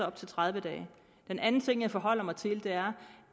op til tredive dage den anden ting jeg forholder mig til er